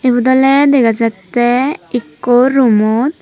yot ole dega jatte ekko roomot.